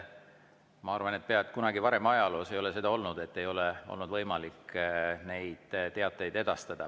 Ma arvan, et kunagi varem ajaloos ei ole seda olnud, et ei ole võimalik teateid edastada.